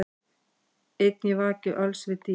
Einn ég vaki öls við dý,